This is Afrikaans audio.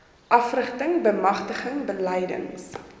afrigting bemagtiging beleids